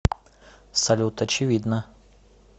салют очевидно